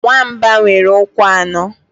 Nwamba nwere ụkwụ anọ.